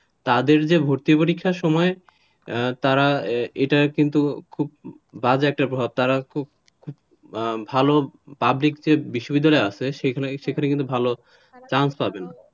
তাদের যে ভর্তি পরীক্ষার সময় তারা এটা কিন্তু খুব, বাজে একটা প্রভাব তারা কিন্তু খুব খুব ভালো পাবলিক বিশ্ববিদ্যালয়ে chance পাবে না,